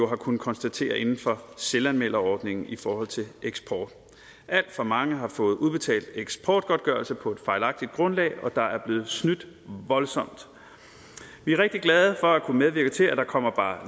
har kunnet konstatere inden for selvanmelderordningen i forhold til eksport alt for mange har fået udbetalt eksportgodtgørelse på et fejlagtigt grundlag og der er blevet snydt voldsomt vi er rigtig glade for at kunne medvirke til at der kommer bare